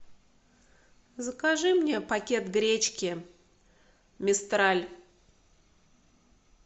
закажи мне пакет гречки мистраль